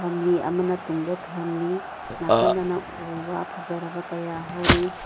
ꯑꯃꯅ ꯇꯨꯡꯗ ꯊꯝꯂꯤ ꯅꯀꯟꯗꯅ ꯎ ꯋꯥ ꯐꯖꯔꯕ ꯀꯌꯥ ꯍꯧꯔꯤ꯫